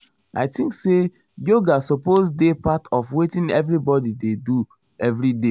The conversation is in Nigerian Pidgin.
i think um say yoga supose dey part of wetin everybodi dey do everyday.